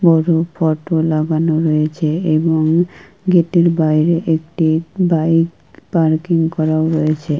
বড়ো ফটো লাগানো রয়েছে এবং উ-ম- গেটের বাইরে একটি বাইক পার্কিং করা হয়েছে।